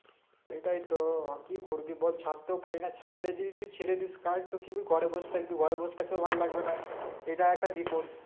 সেটাই তো কি করবি বল ছাড়তেও পারিনা ছাড়লে যে যেই ছেড়ে দিস কাজ কেবল ঘরে বসে থাকবি ঘরে বসে থাকতেও ভালো লাগবে না এটা একটা বিপদ